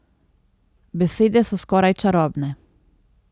Besede so skoraj čarobne.